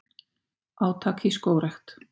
Átak í skógrækt